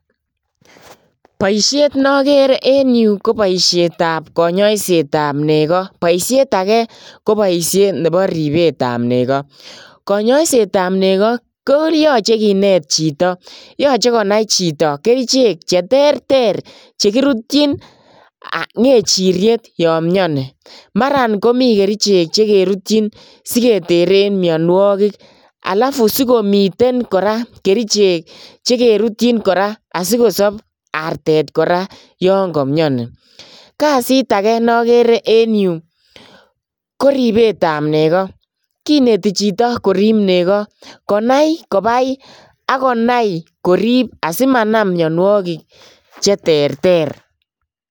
Boishet nokere en yuu ko boishetab konyoisetab nekoo, konyoiset akee koboishet nebo ribetab nekoo, konyoisetab nekoo koyoche kineet chito, yoche konai chito kerichek cheterter chekirutyin ngechiriet yoon mioni, maran komii kerichek chekerutyin siketeren mionwokik alafu sikomiten kerichek alak che kerutyin kora sikosob artet kora yoon komioni, kasit akee nokere en yuu ko ribetab nekoo, kineti chito korib nekoo konai kobai ak konai korib asimanam mionwokik cheterter.